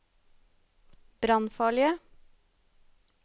brannfarlige